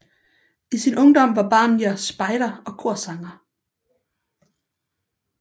I sin ungdom var Barnier spejder og korsanger